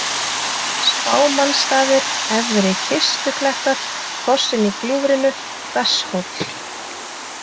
Spámannsstaðir, Efri-Kistuklettar, Fossinn í gljúfrinu, Besshóll